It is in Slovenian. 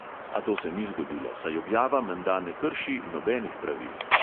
A to se ni zgodilo, saj objava menda ne krši nobenih pravil.